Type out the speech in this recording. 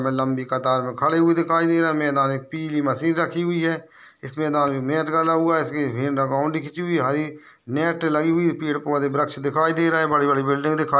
मे लंबी कतार में खड़े हुए दिखाई दे रहे है मैदान एक पीली मशीन रखी हुई है इस मैदान में मेट डला हुआ है इसके बाउंड्री खिची हुई है हरी नेट लगी हुई है पेड़ पौधे वृक्ष दिखाई दे रहे है बड़ी बड़ी बिल्डिंग दिखा --